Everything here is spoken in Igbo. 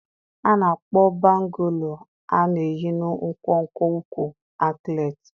A na-akpọ bangụ́lụ a na-eyi na nkwonkwo ụkwụ ankletị